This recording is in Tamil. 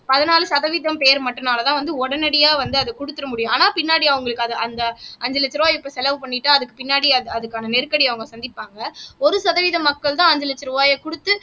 பதினாலு சதவீதம் பேர் மட்டும்னாலதான் வந்து உடனடியா வந்து அத குடுத்திற முடியும் ஆனா பின்னாடி அவங்களுக்கு அது அந்த அஞ்சு லட்ச ரூபாய் இப்ப செலவு பண்ணிட்டு அதுக்கு பின்னாடி அதுக்கான நெருக்கடியை அவங்க சந்திப்பாங்க ஒரு சதவீத மக்கள்தான் அஞ்சு லட்ச ரூபாயை குடுத்து